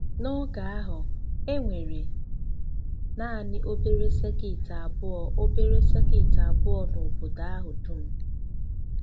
N’oge ahụ, e nwere nanị obere sekit abụọ obere sekit abụọ n’obodo ahụ dum.